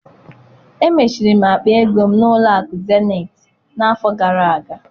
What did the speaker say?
Emechiri m akpa ego m na-ụlọ akụ Zenetị n'afọ gara aga.